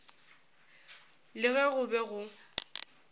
le ge go be go